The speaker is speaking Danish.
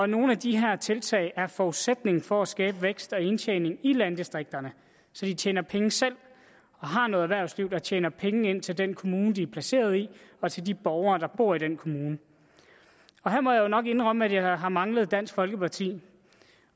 nogle af de her tiltag er forudsætningen for at skabe vækst og indtjening i landdistrikterne så de tjener penge selv og har noget erhvervsliv der tjener penge til den kommune de er placeret i og til de borgere der bor i den kommune her må jeg jo nok indrømme at jeg har manglet dansk folkeparti